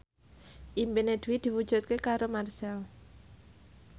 impine Dwi diwujudke karo Marchell